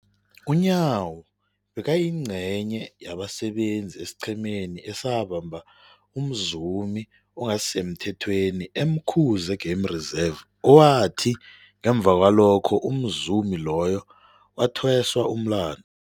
UNyawo bekayingcenye yabasebenza esiqhemeni esabamba umzumi ongasisemthethweni e-Umkhuze Game Reserve, owathi ngemva kwalokho umzumi loyo wathweswa umlandu.